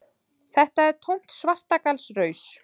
Þetta er tómt svartagallsraus.